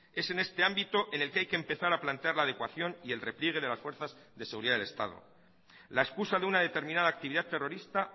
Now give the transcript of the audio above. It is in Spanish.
es en este ámbito en el que hay que empezar a platear la adecuación y el repliegue de las fuerzas de seguridad del estado la excusa de una determinada actividad terrorista